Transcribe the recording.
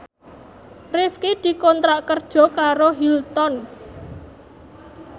Rifqi dikontrak kerja karo Hilton